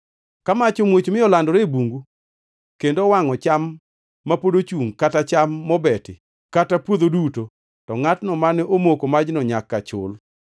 “Ka mach omuoch mi olandore e bungu kendo owangʼo cham ma pod ochungʼ kata cham mobeti kata puodho duto, to ngʼatno mane omoko majno nyaka chul.